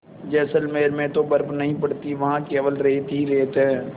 जैसलमेर में तो बर्फ़ नहीं पड़ती वहाँ केवल रेत ही रेत है